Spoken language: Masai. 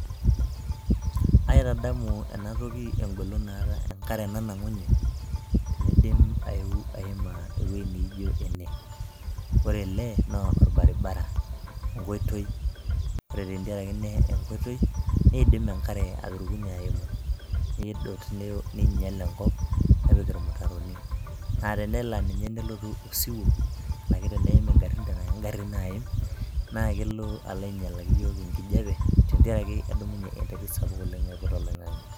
Aitadamu ena toki engolon naata enkare nanang'unye teneidim aiam ewueiji neijo ene. Ore ele naa olbaribara, enkoitoi, ore tenkaraki enkoitoi, neidim enkare atanang'unye ayeu nedot neinyial enkop. Nepik irmutaroni, naa tenelo ake nelotu osiwuo, anaki teneim ingarrin tena kengarrin naaim, naa kelo alo ainyialaki iyiook enkijiape tentiaraki edumunye enterit sapuk oleng' ajing' oloing'ang'e.